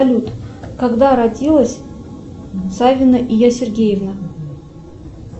салют когда родилась савина ия сергеевна